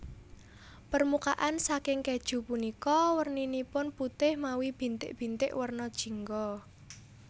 Permukaan saking kèju punika werninipun putih mawi bintik bintik werna jingga